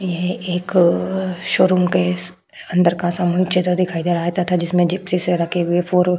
यह एक शोरूम के अंदर का सामन चित्र दिखाई दे रहा है तथा जिसमे जिप्सी से रखे हुए फोर ओर --